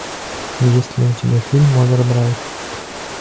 есть ли у тебя фильм овердрайв